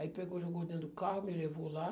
Aí pegou, jogou dentro do carro, me levou lá.